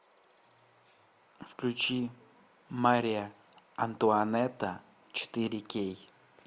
включи мария антуанетта четыре кей